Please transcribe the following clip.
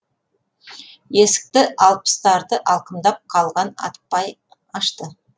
есікті алпыстарды алқымдап қалған апай ашты